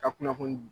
Ka kunnafoni di